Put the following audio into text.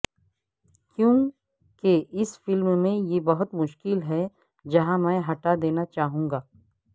کیونکہ اس فلم میں یہ بہت مشکل ہے جہاں میں ہٹا دینا چاہوں گا